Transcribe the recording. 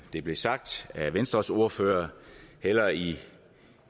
det blev sagt af venstres ordførere hellere i